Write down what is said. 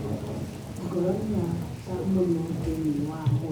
Ngoro nĩ ya bata mũno thĩinĩ wa mwĩrĩ.